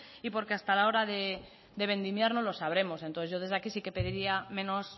y porque hasta la hora de vendimiar no lo sabremos entonces yo desde aquí sí que pediría menos